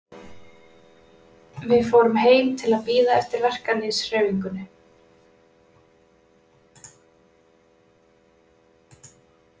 Við fórum heim til að bíða eftir verkalýðshreyfingunni.